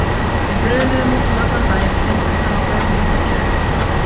Við brunuðum út um allan bæ, prinsessan á bauninni og kærasta